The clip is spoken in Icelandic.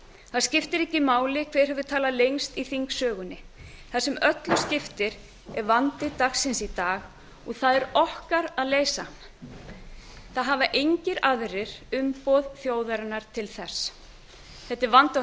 það skiptir ekki máli hver hefur talað lengst í þingsögunni það sem öllu skiptir er vandi dagsins í dag og það er okkar að leysa hann það hafa engir aðrir umboð þjóðarinnar til þess þetta er vandi á